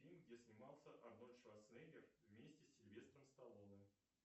фильм где снимался арнольд шварценеггер вместе с сильвестром сталлоне